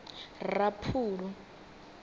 raphulu